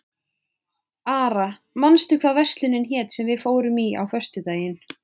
Ara, manstu hvað verslunin hét sem við fórum í á föstudaginn?